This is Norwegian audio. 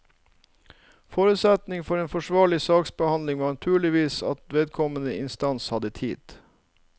Forutsetningen for en forsvarlig saksbehandling var naturligvis at vedkommende instans hadde tid.